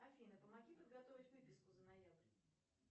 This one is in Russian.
афина помоги подготовить выписку за ноябрь